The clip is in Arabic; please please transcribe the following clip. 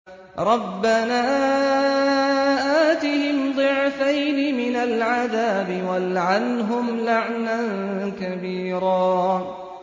رَبَّنَا آتِهِمْ ضِعْفَيْنِ مِنَ الْعَذَابِ وَالْعَنْهُمْ لَعْنًا كَبِيرًا